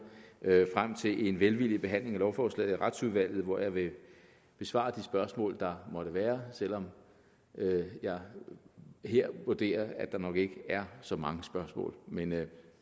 ser jeg frem til en velvillig behandling af lovforslaget i retsudvalget hvor jeg vil besvare de spørgsmål der måtte være selv om jeg her vurderer at der nok ikke er så mange spørgsmål men